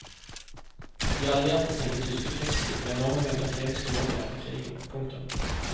De allierte senket tyske krigsskip med enorme mengder kjemiske våpen etter krigen. punktum